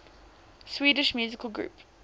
swedish musical groups